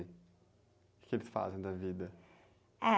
O quê que eles fazem da vida?h..